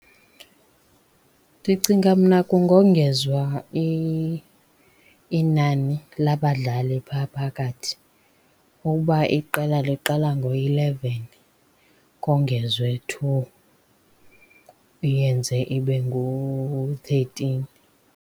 Ndicinga mna kungongezwa inani labadlali phaa phakathi. Ukuba iqela liqala ngo-eleven, kongezwe two iyenze ibe ngu-thirteen.